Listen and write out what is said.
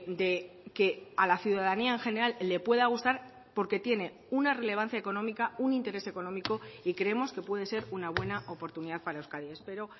de que a la ciudadanía en general le pueda gustar porque tiene una relevancia económica un interés económico y creemos que puede ser una buena oportunidad para euskadi espero